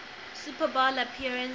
super bowl appearance